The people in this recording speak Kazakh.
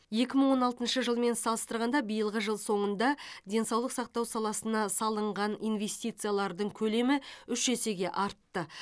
екі мың он алтыншы жылмен салыстырғанда биылғы жыл соңында денсаулық сақтау саласына салынған инвестициялардың көлемі үш есеге артты